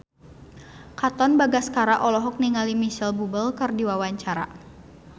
Katon Bagaskara olohok ningali Micheal Bubble keur diwawancara